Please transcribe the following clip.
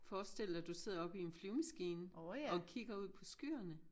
Forestil dig du sidder oppe i en flyvemaskine og kigger ud på skyerne